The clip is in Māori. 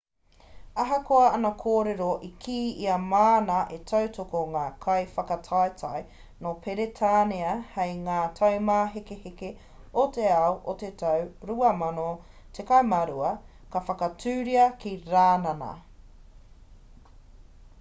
ahakoa ana kōrero i kī ia māna e tautoko ngā kaiwhakataetae nō peretānia hei ngā taumāhekeheke o te ao o te tau 2012 ka whakatūria ki rānana